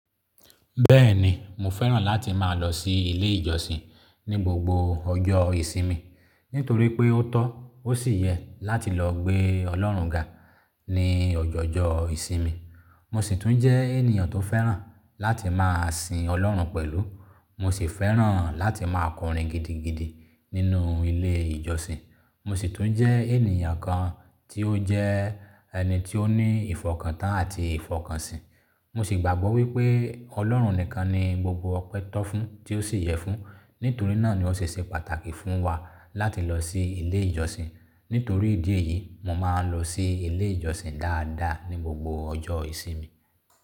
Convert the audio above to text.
Bẹ́ẹ̀ni, mo fẹ́ràn láti máa lọ sí ilé ìjọsìn ní gbogbo ọjọ́ ìsinmi, nítorí pé ó tọ́ ó sì yẹ láti lọ gbé Ọlọ́run ga ní ọjọọjọ ìsinmi. Mo sì tún jẹ́ ènìyàn tó fẹ́ràn láti máa sìn Ọlọ́run pẹ̀lú. Mo sì fẹ́ràn láti máa kọrin gidigidi nínú ilé ìjọsìn. Mo sì tún jẹ́ ènìyàn kan tí ó jẹ́ ẹni tí ó ní ìfọkàntán àti ìfọkànsin. Mo sì gbàgbọ́ wípé Ọlọ́run nìkan ni gbogbo ọpẹ́ tó fún tí ó sì yẹ fún. Nítorí náà ni ó ṣe ṣe pàtàkì fún wa láti lọ sí ilé ìjọsìn. Nítorí ìdí èyí, mo máa ń lọ sí ilé ìjọsìn dáadáa ní gbogbo ọjọ́ ìsinmi.